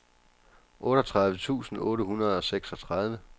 otteogtredive tusind otte hundrede og seksogtredive